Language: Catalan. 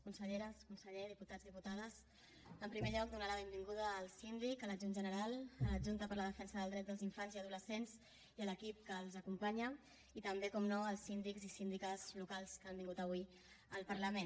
conselleres conseller diputats diputades en primer lloc donar la benvinguda al síndic a l’adjunt general a l’adjunta per a la defensa dels drets dels infants i adolescents i a l’equip que els acompanya i també naturalment als síndics i síndiques locals que han vingut avui al parlament